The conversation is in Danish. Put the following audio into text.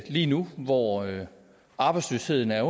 lige nu hvor arbejdsløsheden er